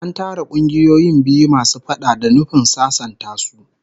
An tara kungiyoyin biyu masu faɗa da nufin sasanta su